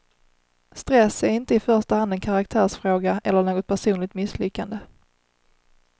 Stress är inte i första hand en karaktärsfråga eller något personligt misslyckande.